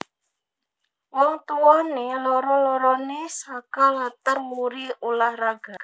Wong tuwané loro loroné saka latar wuri ulah raga